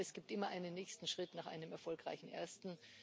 Aber es gibt immer einen nächsten Schritt nach einem erfolgreichen ersten.